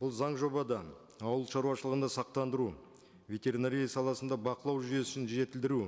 бұл заң жобадан ауылшаруашылығында сақтандыру ветеринария саласында бақылау жүйесін жетілдіру